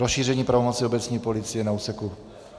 Rozšíření pravomoci obecní policie na úseku...